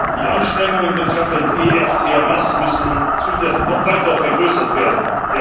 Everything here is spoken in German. Die Anstrengungen betreffend ERTMS müssen zusätzlich noch weiter verstärkt werden.